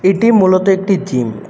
এটি মূলত একটি জিম ।